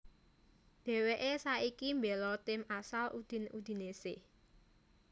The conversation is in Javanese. Dèwèké saiki mbéla tim asal Udine Udinese